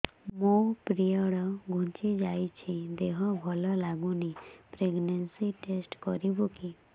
ମୋ ପିରିଅଡ଼ ଘୁଞ୍ଚି ଯାଇଛି ଦେହ ଭଲ ଲାଗୁନି ପ୍ରେଗ୍ନନ୍ସି ଟେଷ୍ଟ କରିବୁ କି